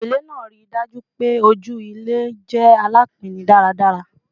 Ipele naa rii daju pe oju ilẹ jẹ alapin daradara